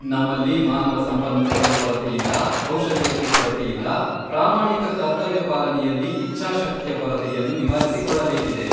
ನಮ್ಮಲ್ಲಿ ಮಾನವ ಸಂಪನ್ಮೂಲಕ್ಕೆ ಕೊರತೆಯಿಲ್ಲ, ಕೌಶಲ್ಯಕ್ಕೆ ಕೊರತೆಯಿಲ್ಲ, ಪ್ರಾಮಾಣಿಕ ಕರ್ತವ್ಯ ಪಾಲನೆಯಲ್ಲಿ ಇಚ್ಛಾಶಕ್ತಿಯ ಕೊರತೆಯನ್ನು ನಿವಾರಿಸಿಕೊಳ್ಳಬೇಕಿದೆ.